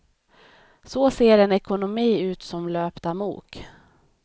Så ser en ekonomi ut som löpt amok.